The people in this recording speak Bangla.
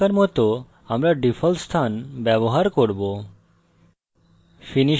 এখনকার জন্য আমরা ডিফল্ট স্থান ব্যবহার করব